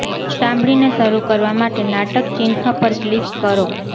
સાંભળીને શરૂ કરવા માટે નાટક ચિહ્ન પર ક્લિક કરો